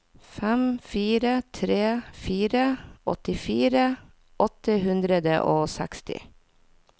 fem fire tre fire åttifire åtte hundre og seksti